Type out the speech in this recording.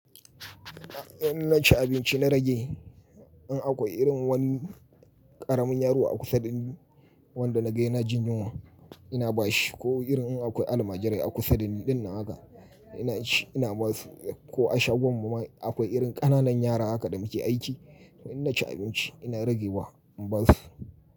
In naci abinci na rage, in akwai irin wani ƙaramin yaro a kusa dani wanda na ga yana jin yunwa ina ba shi ko irin in akwai almajirai a kusa dani dinnan na haka ina ci ina ba su ko a shagon mu ma akwai irin ƙananan yara haka da muke aiki, to in naci abinci ina rage wa in ba su.